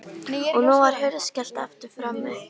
Og nú var hurð skellt aftur frammi.